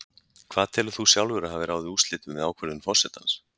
Hvað telur þú sjálfur að hafi ráðið úrslitum við ákvörðun forsetans?